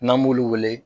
N'an b'olu wele